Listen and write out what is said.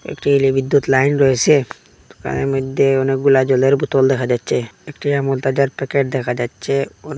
একটি বিদ্যুত লাইন রয়েছে দোকানের মধ্যে অনেকগুলা জলের বোতল দেখা যাচ্ছে একটি আমুলতাজার প্যাকেট দেখা যাচ্ছে উম--